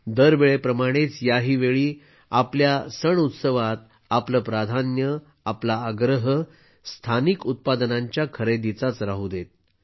दरवेळेप्रमाणेच याही वेळी आपल्या सणउत्सवात आपलं प्राधान्य आपला आग्रह स्थानिक उत्पादनांच्या खरेदीचाच राहू देत